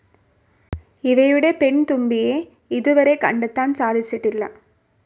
ഇവയുടെ പെൺതുമ്പിയെ ഇതുവരെ കണ്ടെത്താൻ സാധിച്ചിട്ടില്ല.